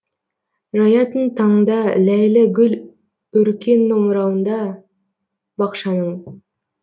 жаятын таңда ләйлі гүл өркен омырауында бақшаның